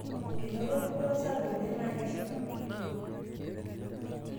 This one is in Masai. Enoto dupoto sapuk oleng' naa keshipa